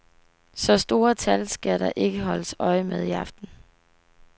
Så store tal skal der ikke holdes øje med i aften.